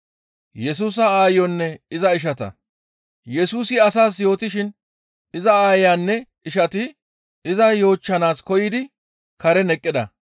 Yesusi asaas yootishin iza aayeyanne ishati iza yoochchana koyidi karen eqqida.